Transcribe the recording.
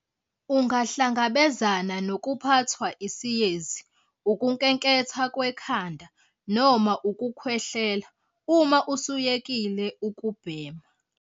Ungahlangabezana nokuphathwa isiyezi, ukunkenketha kwekhanda noma ukukhwehlela uma usuyekile ukubhema.